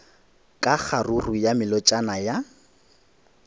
ka kgaruru ya melotšana ya